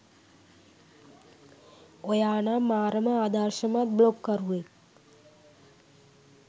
ඔයා නම් මාරම ආදර්ශමත් බ්ලොග් කරුවෙක්